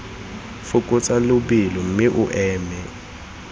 fokotsa lebelo mme o eme